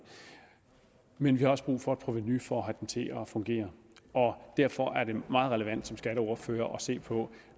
men vi har også brug for et provenu for at få den til at fungere og derfor er det meget relevant som skatteordfører at se på når